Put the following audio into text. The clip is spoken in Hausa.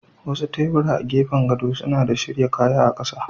Wasu tebura na gefen gado suna da shirya kaya a ƙasa.